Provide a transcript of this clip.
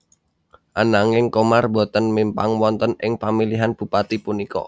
Ananging Qomar boten mimpang wonten ing pamilihan bupati punika